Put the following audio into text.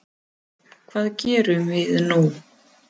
Hvað gerum við nú